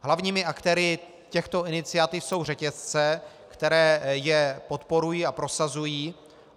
Hlavními aktéry těchto iniciativ jsou řetězce, které je podporují a prosazují.